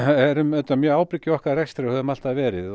erum auðvitað mjög ábyrg í okkar rekstri og höfum alltaf verið